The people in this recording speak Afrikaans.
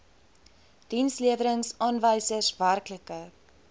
dienslewerings aanwysers werklike